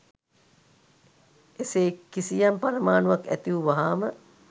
එසේ කිසියම් පරමාණුවක් ඇති වූ වහාම